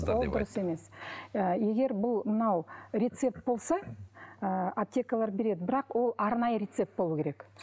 ол дұрыс емес ы егер бұл мынау рецепт болса ы аптекалар береді бірақ ол арнайы рецепт болуы керек